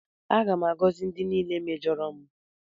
Aga m agọzi ndị niile mejọrọ m.